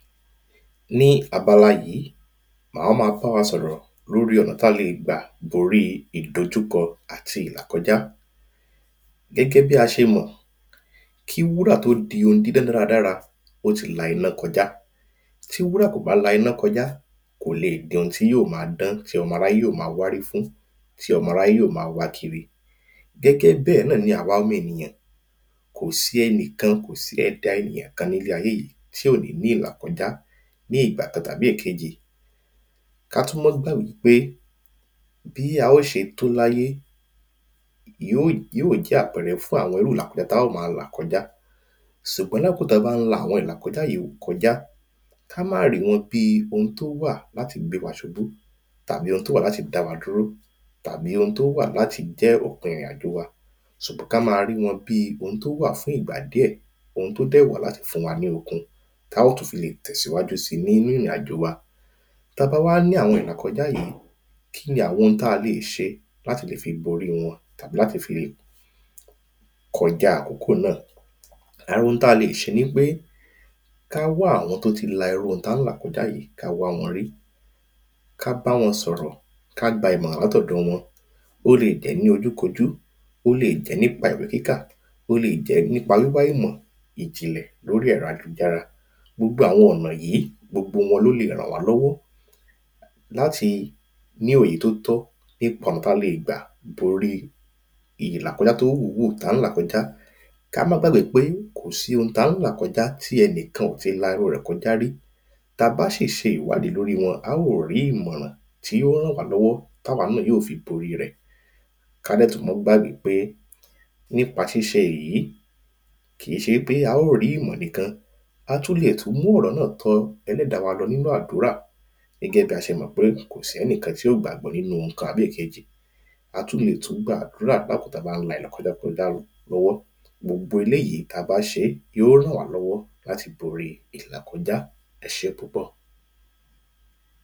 Ní abala yìí mà á má bá wa sọ̀rọ̀ lórí ọ̀nà tí a le gbà borí ìdojúkọ àti ìlàkọjá. Gẹ́gẹ́ bí a ṣe mọ̀ kí wúrà tó di ohun dídán dára dára ó ti la iná kọjá ti wúrà kò bá la iná kọjá kò le di ohun tí yó má dán tí ọmọ aráyé yó má wárí fún tí ọmọ aráyé yó má wá kíri gẹ́gẹ́ bẹ́ẹ̀ náà ni àwa ọmọ ènìyàn kò sí ẹnìkan kò sí ẹ̀dá ènìyàn kan nínú ayé yìí tí ò ní ní ìlà kọjá ní ìgbà kan tàbí ẹ̀kejì. Ká tún mọ́ gbàgbé pé bí a ó ṣe tó láyé yó yó jẹ́ àpẹrẹ fún irú ìlàkọjá tí a ó má là kọjá ṣùgbọ́n lákokò tá bá ń la àwọn ìlàkọjá yìí kọjá ká má rí wọn bí ohun tó wà láti gbé wa ṣubú tàbí ohun tó wà láti dá wa dúró tàbí ohun tó wà láti jẹ́ òpin ìrìn àjò wa ṣùgbọ́n ká má rí wọn bí ohun tó wà fún ìgbà díẹ̀ ohun tó dẹ̀ wà láti fún wa ní okun tá ó tún fi le tẹ̀síwájú sí nínú ìrìn àjò wa. Tá bá wá ní àwọn ìlàkọjá yìí kíni a le ṣe láti fi lè borí wọn tàbí láti fi lè kọjá àkókò náà. Àwọn ohun tá lè ṣe ni wípé ká wá àwọn tó ti la irú ohun tá ń là kọjá yìí ká wá wọn rí ká bá wọn sọ̀rọ̀ ká gba ìmọ̀ràn látọ̀dọ̀ wọn. Ó lè jẹ́ ní ojú kojú ó lè jẹ́ nípa ìwé kíkà ó le jẹ́ nípa wíwá ìmọ̀ ìjìnlẹ̀ lórí ẹ̀rọ ayélujára. Gbogbo àwọn ọ̀nà yìí gbogbo wọn ló lè ràn wá lọ́wọ́ láti ní òye tó tọ́ nípa ọ̀nà tí a le gbà borí ìlàkọjá yòwú tá ń là kọjá. Ká má gbàgbé pé kò sí ohun tá ń là kọjá tí ẹnìkan ò tí la irú rẹ̀ kọjá rí tá bá sì ṣe ìwádìí lórí wọn a ó rí ìmọ̀ràn tí yó ràn wá lọ́wọ́ táwa náà yó fi borí rẹ̀ Ká dẹ̀ tún má gbàgbé pé nípa ṣíṣe èyí kìí ṣe wípé a ó rí ìmọ̀ nìkan á tún le mú ọ̀rọ̀ wa tọ ẹlẹ́dàá lọ nínú àdúrà gẹ́gẹ́ bí a ṣe mọ̀ pé kò sẹ́nìkan tí ò gbàgbọ́ nínú ohun kan àbí èkejì Á tún le tún gba àdúrà lákókò tá bá ń la ìlàkọjá lọ lọ́wọ́ Gbogbo eléèyí yó ràn wá lọ́wọ́ láti borí ìlàkọjá ẹṣé púpọ̀.